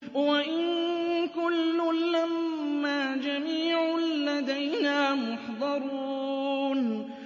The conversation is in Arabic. وَإِن كُلٌّ لَّمَّا جَمِيعٌ لَّدَيْنَا مُحْضَرُونَ